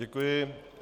Děkuji.